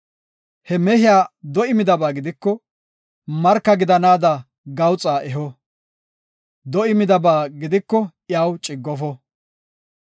He mehiya do7i midaba gidiko, marka gidanaada gawuxaa eho; do7i midaba gidiko iyaw ciggofo.